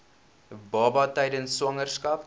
baba tydens swangerskap